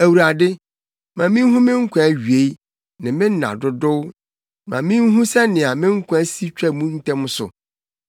“ Awurade, ma minhu me nkwa awiei ne me nna dodow; ma minhu sɛnea me nkwa si twa mu ntɛm so.